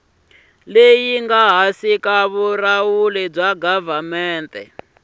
leyi nga ehansi ka vulawuri